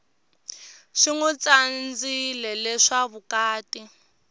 swi nwi tsandzileswa vukati